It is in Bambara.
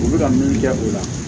U bɛ ka min kɛ o la